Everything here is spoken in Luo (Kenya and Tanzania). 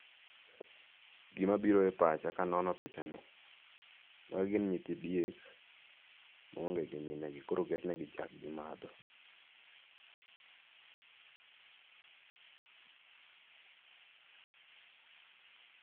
gima biro e pacha kanono picha ni[ en ni magi nyithi diek maonge gi minegi koro oketnegi chak gimadho.